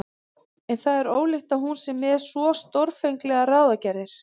En það er ólíklegt að hún sé með svo stórfenglegar ráðagerðir.